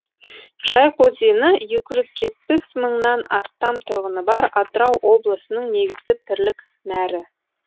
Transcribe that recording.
жайық өзені екі жүз жетпіс мыңнан астам тұрғыны бар атырау облысының негізгі тірлік нәрі